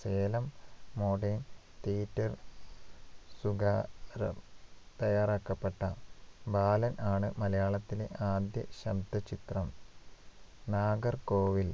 Salem modern theatre സുഗാ റാം തയ്യാറാക്കപ്പെട്ട ബാലൻ ആണ് മലയാളത്തിലെ ആദ്യ ശബ്ദ ചിത്രം നാഗർകോവിൽ